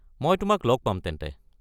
মই তোমাক লগ পাম তেন্তে।